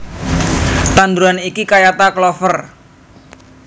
Tanduran iki kayata klover